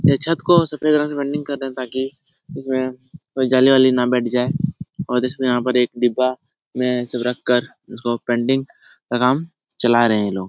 ये छत को सफ़ेद रंग से रंगीन कर रहे है ताकि इसमें कोई जाली-वाली न बैठ जाए और इसलिए यहाँ पर एक डिब्बा में सब रख कर उसको पेंटिंग का काम चला रहे हैं लोग ।